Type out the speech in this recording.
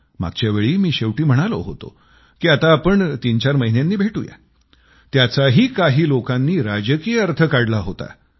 मागच्यावेळी मी शेवटी म्हणालो होतो की आता आपण तीनचार महिन्यांनी भेटूया त्याचाही काही लोकांनी राजकीय अर्थ काढला होता